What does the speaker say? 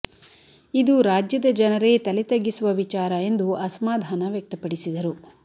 ಇದು ರಾಜ್ಯದ ಜನರೇ ತಲೆ ತಗ್ಗಿಸುವ ವಿಚಾರ ಎಂದು ಅಸಮಾಧಾನ ವ್ಯಕ್ತಪಡಿಸಿದರು